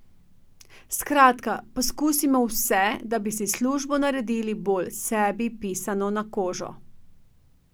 Skratka, poskusimo vse, da bi si službo naredili bolj sebi pisano na kožo.